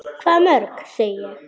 Hvað mörg, segi ég.